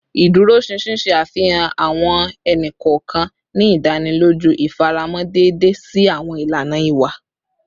Iduroṣinṣin ṣe afihan awọn ẹni kọọkan, ni idaniloju ifaramọ deede si awọn ilana iwa